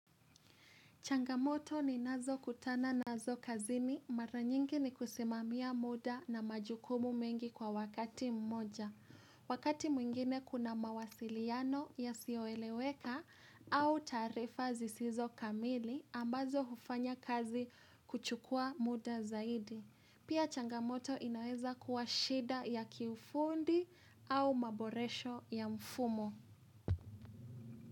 Changamoto ninazo kutana nazo kazini mara nyingi ni kusimamia muda na majukumu mengi kwa wakati mmoja. Wakati mwingine kuna mawasiliano ya sioeleweka au taarifa zisizo kamili ambazo hufanya kazi kuchukua muda zaidi. Pia changamoto inaweza kuwa shida ya kiufundi au maboresho ya mfumo.